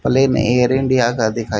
plane Air India का दिखाई--